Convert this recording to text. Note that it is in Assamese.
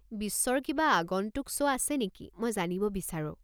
বিশ্বৰ কিবা আগন্তুক শ্ব' আছে নেকি মই জানিব বিচাৰো।